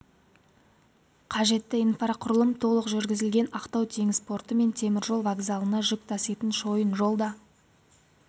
қажетті инфрақұрылым толық жүргізілген ақтау теңіз порты мен темір жол вокзалына жүк таситын шойын жол да